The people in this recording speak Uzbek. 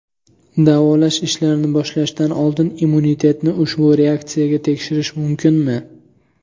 Davolash ishlarini boshlashdan oldin immunitetni ushbu reaksiyaga tekshirish mumkinmi?